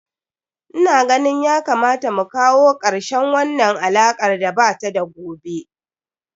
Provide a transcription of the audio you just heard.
Ina ganin ya kamata mu kawo karshen wannan alakar da ba ta da gobe.